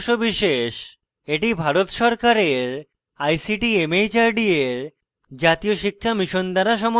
এটি ভারত সরকারের ict mhrd এর জাতীয় শিক্ষা mission দ্বারা সমর্থিত